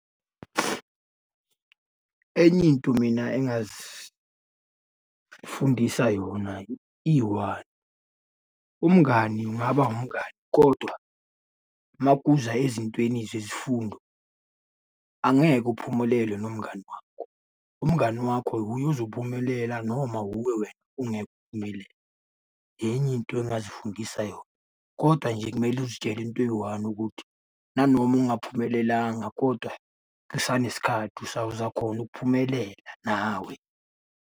Enye into mina engazifundisa yona iyi-one, umngani kungaba umngani kodwa uma kuza ezintweni zezifundo, angeke uphumelele nomngani wakho. Umngani wakho uye ozophumelela, noma hhuwe wena ungeke uphumelele. Enye into engazifundisa yona, kodwa nje kumele uzitshele into eyi-one ukuthi, nanoma ungaphumelelanga koda usanesikhathi uzakhona ukuphumelela nawe.